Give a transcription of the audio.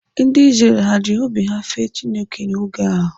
Ndị Izrel ha ji obi ha fee Chineke n'oge ha?